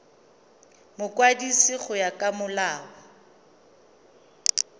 mokwadisi go ya ka molao